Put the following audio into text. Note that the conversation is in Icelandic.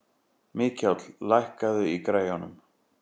Mikjáll, lækkaðu í græjunum.